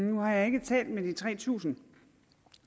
nu har jeg ikke talt med de tre tusind